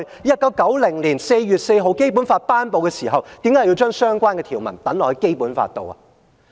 1990年4月4日頒布《基本法》的時候，當初為何要將這條文寫入《基本法》裏呢？